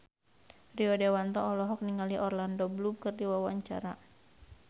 Rio Dewanto olohok ningali Orlando Bloom keur diwawancara